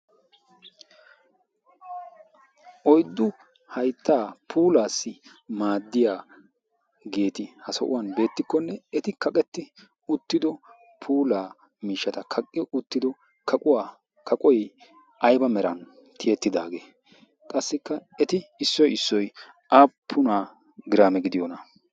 Oyddu hayttaa puulaassi maaddiyaageeti ha so'uwan beettikkonne eti kaqetti uttido puulaa miishshata kaqqi uttido kaquwaa kaqoy ayba meran tiyettidaagee? Qassikka eti issoy issoy apuna giraame gidiyoona?